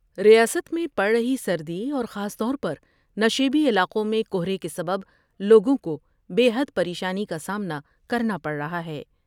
ریاست میں پڑ رہی سردی اور خاص طور پر نشیبی علاقوں میں کہرے کے سبب لوگوں کو بے حد پر یشانی کا سامنا کرنا پڑ رہا ہے ۔